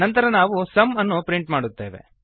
ನಂತರ ನಾವು ಸುಮ್ ಅನ್ನು ಪ್ರಿಂಟ್ ಮಾಡುತ್ತೇವೆ